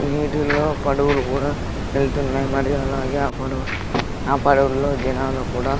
నీటిల్లో పడువలు కూడా వెళ్తున్నాయి మరియు అలాగే ఆ పడవ ఆ పడవల్లో జనాలు కూడా--